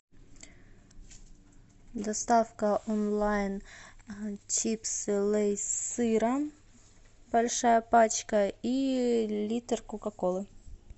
доставка онлайн чипсы лейс с сыром большая пачка и литр кока колы